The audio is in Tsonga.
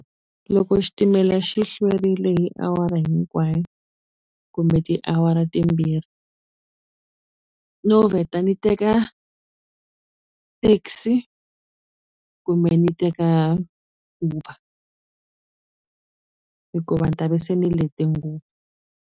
Loko xitimela xi hlwerile hi awara hinkwayo kumbe tiawara timbirhi no vheta ni teka taxi kumbe ni teka Uber hikuva ni ta ve se ni lete ngopfu.